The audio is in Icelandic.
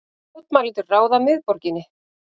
Mótmælendur ráða miðborginni